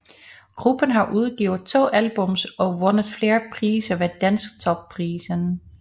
Gruppen har udgivet to albums og vundet flere priser ved Dansktop Prisen